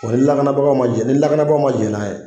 O ni lakanabaga ma jɛn, ni lakanabagaw ma jɛn n'a ye,